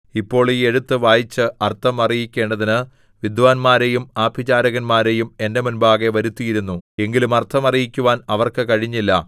ഇപ്പോൾ ഈ എഴുത്ത് വായിച്ച് അർത്ഥം അറിയിക്കേണ്ടതിന് വിദ്വാന്മാരെയും ആഭിചാരകന്മാരെയും എന്റെ മുമ്പാകെ വരുത്തിയിരുന്നു എങ്കിലും അർത്ഥം അറിയിക്കുവാൻ അവർക്ക് കഴിഞ്ഞില്ല